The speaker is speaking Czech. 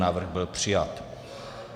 Návrh byl přijat.